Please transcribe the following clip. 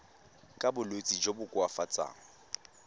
ka bolwetsi jo bo koafatsang